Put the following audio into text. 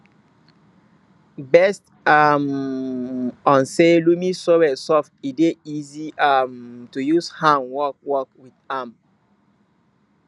based um on say loamy soil soft e dey easy um to use hand work work with am